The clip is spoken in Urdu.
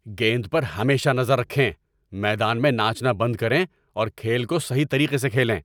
گیند پر ہمیشہ نظر رکھیں! میدان میں ناچنا بند کریں اور کھیل کو صحیح طریقے سے کھیلیں۔